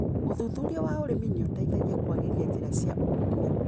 ũthuthuria wa ũrĩmi nĩũteithagia kwagĩria njĩra cia ũkũria.